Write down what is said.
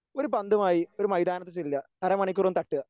ഒരു പന്തുമായി ഒരു മൈതാനത്ത് ചെല്ലുക അരമണിക്കൂറൊന്ന് തട്ടുക.